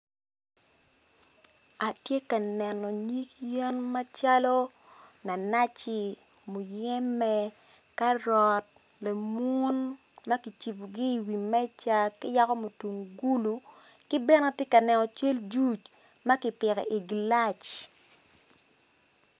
Atye ka neno yen macal nanaci muyembe karot lemun ma ki cibogi i wi meja ki yako mutungulu ki bene atye ka neno cal juc ma kipiko igilac